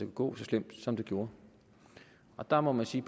gå så slemt som det gjorde og der må jeg sige